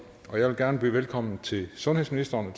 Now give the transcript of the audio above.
jeg vil gerne byde velkommen til sundhedsministeren